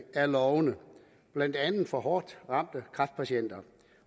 er lovende blandt andet for hårdt ramte kræftpatienter